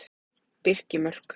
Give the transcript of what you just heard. Birkimörk